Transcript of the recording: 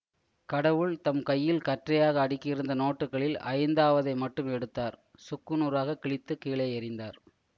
கடவுள் தம் கையில் கற்றையாக அடுக்கியிருந்த நோட்டுக்களில் ஐந்தாவதை மட்டும் எடுத்தார் சுக்கு நூறாகக் கிழித்து கீழே எறிந்தார்